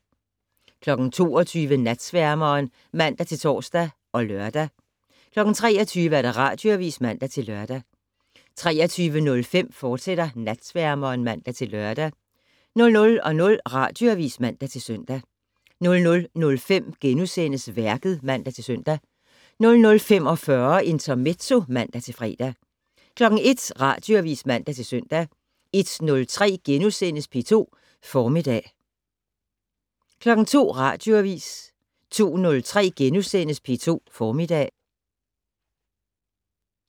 22:00: Natsværmeren (man-tor og lør) 23:00: Radioavis (man-lør) 23:05: Natsværmeren, fortsat (man-lør) 00:00: Radioavis (man-søn) 00:05: Værket *(man-søn) 00:45: Intermezzo (man-fre) 01:00: Radioavis (man-søn) 01:03: P2 Formiddag * 02:00: Radioavis 02:03: P2 Formiddag *